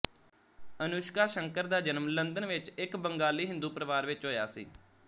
ਅਨੁਸ਼ਕਾ ਸ਼ੰਕਰ ਦ ਜਨਮ ਲੰਦਨ ਵਿੱਚ ਇੱਕ ਬੰਗਾਲੀ ਹਿੰਦੂ ਪਰਿਵਾਰ ਵਿੱਚ ਹੋਇਆ ਸੀ